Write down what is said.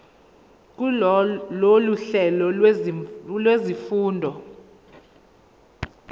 kulolu hlelo lwezifundo